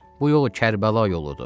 Bu yol Kərbəla yoludur.